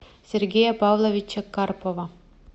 сергея павловича карпова